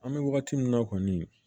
An bɛ wagati min na kɔni